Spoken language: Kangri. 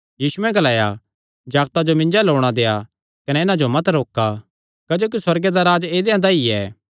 यीशुयैं ग्लाया जागतां जो मिन्जो अल्ल औणां देआ कने इन्हां जो मत रोका क्जोकि सुअर्गे दा राज्ज ऐदेयां दा ई ऐ